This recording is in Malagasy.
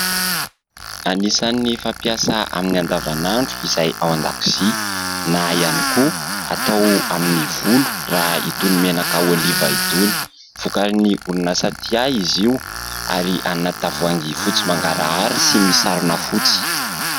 Anisan'ny fampiasa amin'ny andavanandro izay ao an-dakozia na ihany koa atao amin'ny volo raha itony menaka oliva itony, vokarin'ny orinasa''Tia'' izy io ary anaty tavoahangy fotsy mangarahara sy misarona fotsy.